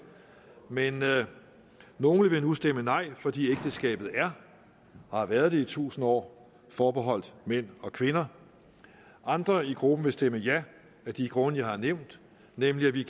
men nogle vil nu stemme nej fordi ægteskabet er og har været det i tusind år forbeholdt mænd og kvinder andre i gruppen vil stemme ja af de grunde jeg har nævnt nemlig at vi